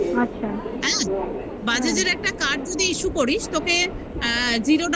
bajaj র একটা card যদি issue করিস তোকে আ zero down